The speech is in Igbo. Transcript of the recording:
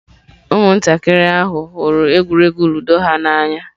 Ụmụntakịrị ahụ hụrụ egwuregwu Ludo ha n'anya.